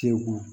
Te ko